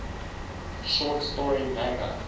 short story manga